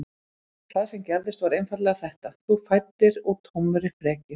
Það sem gerðist var einfaldlega þetta: Þú fæddir úr tómri frekju.